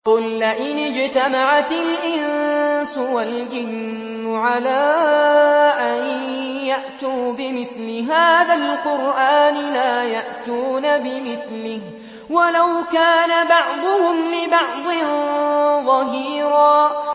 قُل لَّئِنِ اجْتَمَعَتِ الْإِنسُ وَالْجِنُّ عَلَىٰ أَن يَأْتُوا بِمِثْلِ هَٰذَا الْقُرْآنِ لَا يَأْتُونَ بِمِثْلِهِ وَلَوْ كَانَ بَعْضُهُمْ لِبَعْضٍ ظَهِيرًا